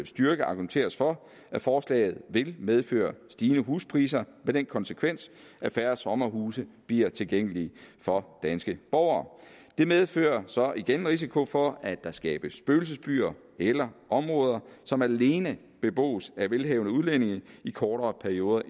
styrke argumenteres for at forslaget vil medføre stigende huspriser med den konsekvens at færre sommerhuse bliver tilgængelige for danske borgere det medfører så igen en risiko for at der skabes spøgelsesbyer eller områder som alene bebos af velhavende udlændinge i kortere perioder